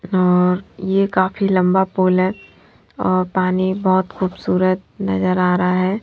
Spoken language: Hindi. और ये काफी लंबा पोल है और पानी बहुत खूबसूरत नजर आ रहा है।